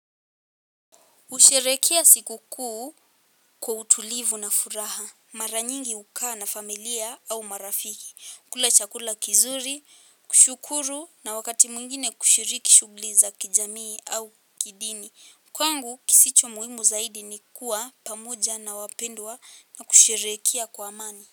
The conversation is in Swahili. Husherekea sikukuu kwa utulivu na furaha. Mara nyingi hukaa na familia au marafiki. Kula chakula kizuri, kushukuru na wakati mwingine kushiriki shughuli za kijamii au kidini. Kwangu kisicho muhimu zaidi ni kuwa pamoja na wapendwa na kusherekea kwa amani.